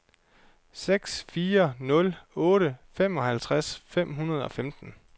seks fire nul otte femoghalvtreds fem hundrede og femten